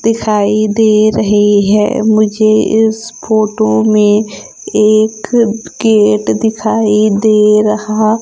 दिखाई दे रही है। मुझे इस फोटो में एक गेट दिखाई दे रहा।